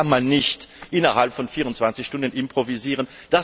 Auch das kann man nicht innerhalb von 24 Stunden improvisieren.